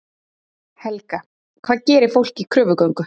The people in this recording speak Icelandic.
Helga: Hvað gerir fólk í kröfugöngu?